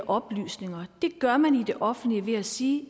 oplysninger gør man det i det offentlige ved at sige